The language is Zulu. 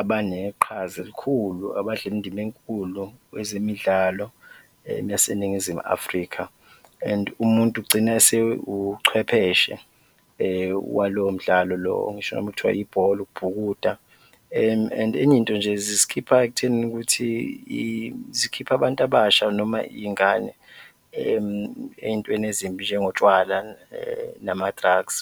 abaneqhaza elikhulu, abadlala indima enkulu kwezemidlalo yaseNingizimu Afrika and umuntu ugcine esewuchwepheshe walowo mdlalo lo ngisho noma kuthiwa ibhola, ukubhukuda and enye into nje zisikhipha ekutheni ukuthi zikhipha abantu abasha noma iy'ngane ey'ntweni ezimbi njengotshwala nama-drugs.